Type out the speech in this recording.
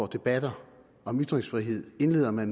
debatter om ytringsfrihed indleder med